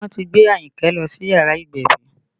Wọ́n ti gbé Ayinke lọ sí yàrá ìgbẹ̀bí